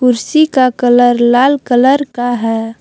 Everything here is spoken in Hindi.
कुर्सी का कलर लाल कलर का है।